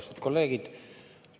Austatud kolleegid!